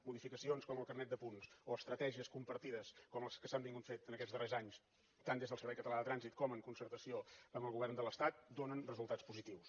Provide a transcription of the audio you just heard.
modificacions com el carnet de punts o estratègies compartides com les que s’han anat fent en aquests darrers anys tant des del servei català de trànsit com en concertació amb el govern de l’estat donen resultats positius